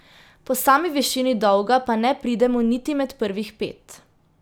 Po sami višini dolga pa ne pridemo niti med prvih pet.